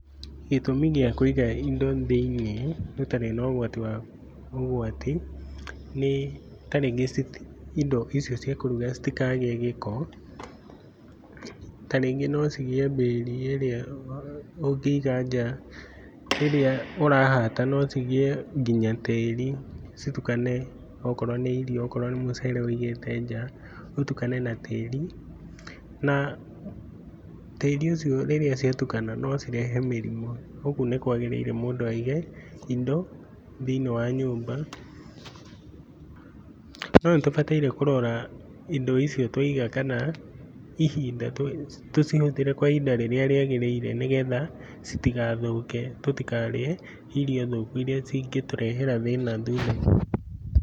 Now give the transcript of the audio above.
Gĩtũmi gĩa kũiga indo thĩ-inĩ gũtarĩ na ũgwati, nĩ ta rĩngĩ indo icio cia kũruga citikagĩe gĩko. Ta rĩngĩ no cigĩe mbĩri ĩrĩa ũngĩiga nja ĩrĩa ũrahata no cigĩe nginya tĩri citukane okorwo nĩ irio, okorwo nĩ mucere ũigĩte nja ũtukane na tĩri. Na tĩri ũcio rĩrĩa ciatukana no cirehe mĩrimu. Ũguo nĩkwagĩrĩire mũndũ aige indo thĩini wa nyũmba. No nĩtũbataire kũrora indo icio twaiga kana tucihũthĩre kwa ihinda rĩrĩa rĩagĩrĩire ni getha citigathũke tũtikarĩe irio thũku iria cingĩtũrehera thĩna thutha-inĩ.